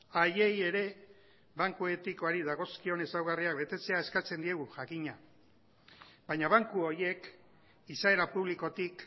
haiei ere banku etikoari dagozkion ezaugarriak betetzea eskatzen diegu jakina baina banku horiek izaera publikotik